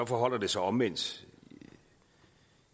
forholder det sig omvendt